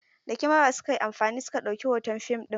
Da Kamara su ka yi amfani su ka ɗauki hoton fim ɗin.